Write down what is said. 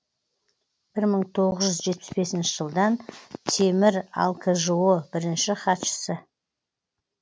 бір мың тоғыз жетпіс бесінші жылдан темір алкжо бірінші хатшысы